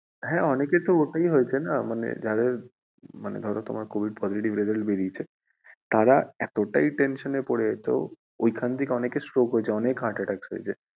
হ্যাঁ অনেকের তো ওটাই হয়েছে না মানে ধরো তোমার covid positive result বেরিয়েছে তাঁরা এতোটাই tension এ পড়ে যেত ওইখান থেকে অনেকের stroke হয়েছে অনেক heart attacks হয়েছে।